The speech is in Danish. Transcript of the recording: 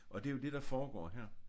Og det er jo det der foregår her